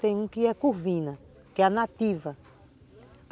Tem uma que é curvina, que é nativa.